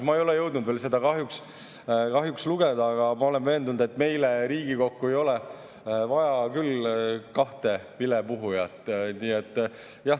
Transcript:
Ma ei ole jõudnud veel seda kahjuks lugeda, aga ma olen veendunud, et meile Riigikokku ei ole küll vaja kahte vilepuhujat.